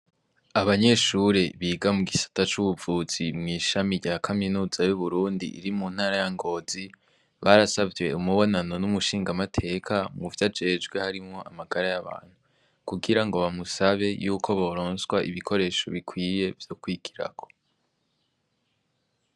Abanyeshure biga mw gisata c'ubuvuzi mw'ishami rya kaminuza y'uburundi iri mu ntara yangozi barasavye umubonano n'umushingamateka mwu vyo ajejwe harimwo amagara y'abantu kugira ngo bamusabe yuko boronswa ibikoresho bikwiye vyo kwigirako.